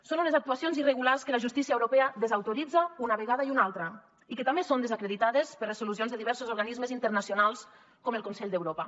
són unes actuacions irregulars que la justícia europea desautoritza una vegada i una altra i que també són desacreditades per resolucions de diversos organismes internacionals com el consell d’europa